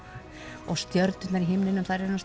og stjörnurnar í himninum þær eru nú